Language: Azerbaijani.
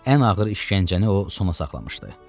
Ən ağır işgəncəni o sona saxlamışdı.